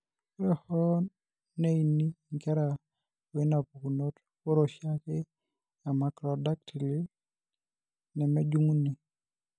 Ore hoo neini inkera oinapukunoto, ore oshiake emacrodactyly nemejung'uni.